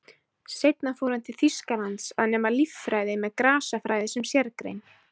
Seinna fór hann til Þýskalands að nema líffræði með grasafræði sem sérgrein.